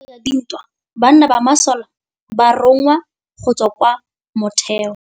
Ka nakô ya dintwa banna ba masole ba rongwa go tswa kwa mothêô.